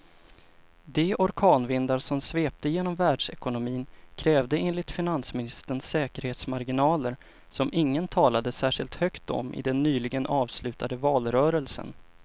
De orkanvindar som sveper genom världsekonomin kräver enligt finansministern säkerhetsmarginaler som ingen talade särskilt högt om i den nyligen avslutade valrörelsen.